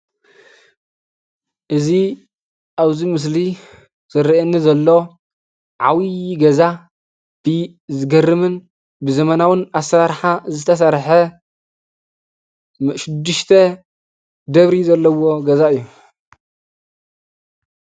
እዚ ኣብዚ ምስሊ ዝርአየኒ ዘሎ ዓብዪ ገዛ ብዝገርምን ብዘመናውን ኣሰራርሓ ዝተሰርሐ ሽዱሽተ ደብሪ ዘለዎ ገዛ እዩ፡፡